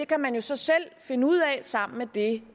kan man jo så selv finde ud af sammen med det